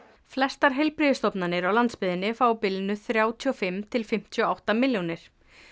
flestar heilbrigðisstofnanir á landsbyggðinni fá á bilinu þrjátíu og fimm til fimmtíu og átta milljónir